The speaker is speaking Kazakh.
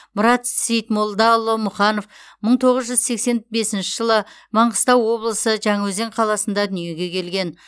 мұрат сейітмолдаұлы мұханов мың тоғыз жүз сексен бесінші жылы маңғыстау облысы жаңаөзен қаласында дүниеге келген